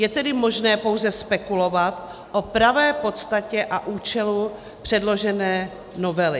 Je tedy možné pouze spekulovat o pravé podstatě a účelu předložené novely.